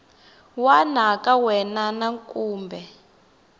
wana ka wena na kumbe